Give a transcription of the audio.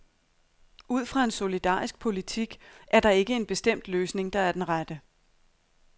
Ud fra en solidarisk politik er der ikke en bestemt løsning, der er den rette.